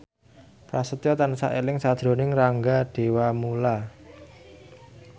Prasetyo tansah eling sakjroning Rangga Dewamoela